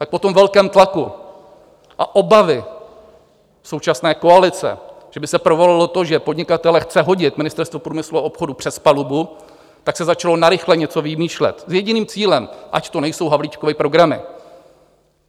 Tak po tom velkém tlaku a obavě současné koalice, že by se provalilo to, že podnikatele chce hodit Ministerstvo průmyslu a obchodu přes palubu, tak se začalo narychlo něco vymýšlet s jediným cílem: ať to nejsou Havlíčkovy programy.